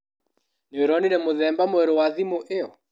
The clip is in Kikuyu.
Nĩũronire mũthemba mwerũ wa thimũ iyo?